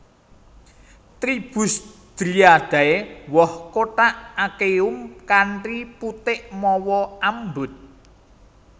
Tribus Dryadeae Woh kothak achenium kanthi putik mawa ambut